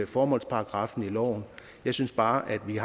formålsparagraffen i loven jeg synes bare at vi